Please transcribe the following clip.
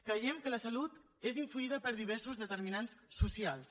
creiem que la salut és influïda per diversos determinants socials